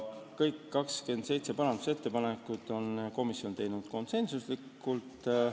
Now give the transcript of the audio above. Kõik 27 parandusettepanekut on komisjon teinud konsensusega.